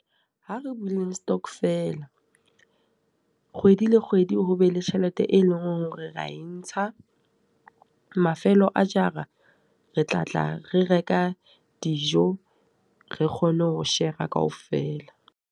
Ha re buleng stockvel-a, kgwedi le kgwedi ho be le tjhelete e leng hore ra e ntsha. Mafelo a jara re tla tla re reka dijo, re kgone ho shera ka ofela.